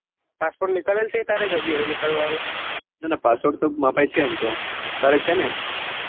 હાસ તો મિતાલલ ઘરેથી ક્યારે નીકળવા નું ના ના પાસપોર્ટ તો મારા પાસે એમ તો તારે છે ને